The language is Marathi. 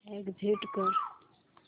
एग्झिट कर